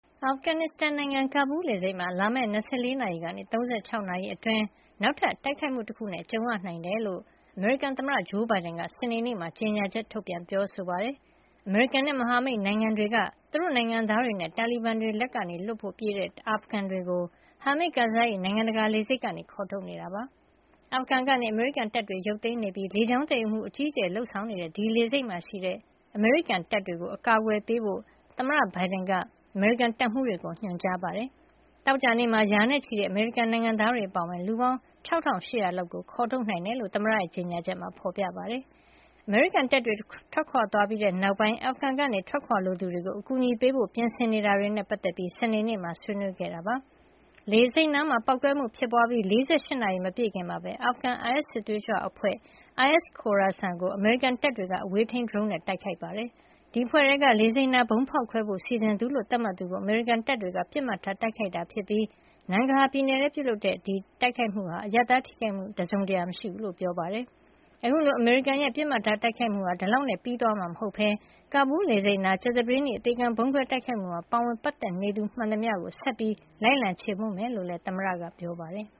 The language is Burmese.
အာဖဂန်နစ်စတန်နိုင်ငံ ကာဘူးလ်လေဆိပ်မှာ လာမယ့် ၂၄ နာရီကနေ ၃၆ နာရီ အတွင်း နောက်ထပ်တိုက်ခိုက်မှု တခုနဲ့ ကြုံရနိုင်တယ်လို့ အမေရိကန်သမ္မတ ဂျိုးဘိုင်ဒန်က စနေနေ့မှာ ကြေညာချက် ထုတ်ပြန်ပြောဆိုပါတယ်။ အမေရိကန်နဲ့ မဟာမိတ်နိုင်ငံတွေက သူတို့နိုင်ငံသားတွေနဲ့ တာလီဘန်တွေလက်ကလွတ်ဖို့ပြေးတဲ့ အာဖဂန်တွေကို ကာဘူးလ်က Hamid Karzai နိုင်ငံတကာ လေဆိပ်ကနေခေါ်ထုတ်နေတာ ဖြစ်ပါတယ်။ အာဖဂန်ကနေ အမေရိကန်တပ်တွေ ရုတ်သိမ်းနေပြီး လေကြောင်းသယ်ယူမှုအကြီးအကျယ်လုပ်ဆောင်နေတဲ့ ဒီလေဆိပ်မှာ ရှိတဲ့ အမေရိကန်တပ်တွေကို အကာကွယ်ပေးဖို့ သမ္မတဘိုင်ဒန်က အမေရိကန်တပ်မှုးတွေကို ညွှန်ကြားခဲ့ပါတယ်။ သောကြာနေ့မှာ ရာနဲ့ချီတဲ့ အမေရိကန်နိုင်ငံသားတွေ အပါအဝင် လူပေါင်း ၆ ၈၀၀ လောက်ကိုခေါ်ထုတ်နိုင်ခဲ့တယ်လို့ သမ္မတရဲ့ ကြေညာချက်မှာ ဖေါ်ပြထားပါတယ်။ အမေရိကန်တပ်တွေထွက်ခွါသွားပြီးနောက်ပိုင်း အာဖဂန်ကနေထွက်ခွါလိုသူတွေကို အကူညီပေးဖို့ ပြင်ဆင်နေတာတွေနဲ့ ပတ်သက်ပြီး စနေနေ့မှာဆွေးနွေးခဲ့တယ်လို့ ပြောပါတယ်။ လေဆိပ်နားပေါက်ကွဲမှုဖြစ်ပွါးခဲ့ပြီး ၄၈ နာရီမပြည့်ခင်မှာပဲ အာဖဂန်က အိုင်အက်စစ်သွေးကြွအဖွဲ့ IS Khorasan ကို အမေရိကန်တပ်တွေက အဝေးထိန်းဒရုန်းနဲ့ တိုက်ခိုက်ခဲ့တာပါ။ ဒီအဖွဲ့ထဲက လေဆိပ်နားဗုံးဖေါက်ခွဲဖို့ စီစဉ်သူလို့ သတ်မှတ်သူကို အမေရိကန်တပ်တွေက ပစ်မှတ်ထားတိုက်ခိုက်ခဲ့တာဖြစ်ပြီး Nangarhar ပြည်နယ်ထဲမှာပြုလုပ်ခဲ့တဲ့ အဝေးထိန်းဒရုန်းနဲ့ တိုက်ခိုက်မှုကနေ အရပ်သားထိခိုက်မှု တစုံတရာ မတွေ့ရဘူးလို့ ပြောပါတယ်။ အခုလို အမေရိကန်ရဲ့ ပစ်မှတ်ထား တိုက်ခိုက်မှုဟာ ဒီလောက်နဲ့ ပြီးသွားမှာမဟုတ်ပဲ ကာဘူးလ်လေဆိပ်နား ကြာသပတေးနေ့ အသေခံဗုံးခွဲ တိုက်ခိုက်မှုမှာ ပါဝင်ပတ်သက်နေသူမှန်သမျှကို ဆက်ပြီးလိုက်လံ ခြေမှုန်းမှာ ဖြစ်ကြောင်းလည်း သမ္မတက ပြောပါတယ်